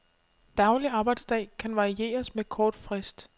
Daglig arbejdsdag kan varieres med kort frist.